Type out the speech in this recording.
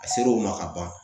A ser'o ma ka ban